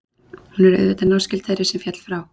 hún er auðvitað náskyld þeirri sem féll frá